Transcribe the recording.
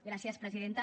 gràcies presidenta